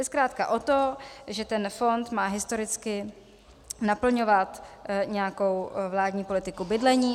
Jde zkrátka o to, že ten fond má historicky naplňovat nějakou vládní politiku bydlení.